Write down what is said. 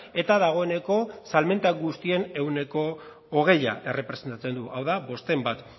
eta dagoeneko salmenta guztien ehuneko hogei errepresentatzen du hau da bostehun bat